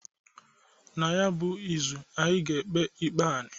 Na ya bụ izu, anyị ga-ekpe ikpe anị.